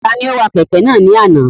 Ta ni ó wa kẹ̀kẹ́ náà ni àná?